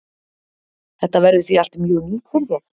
Þetta verður því allt mjög nýtt fyrir þér?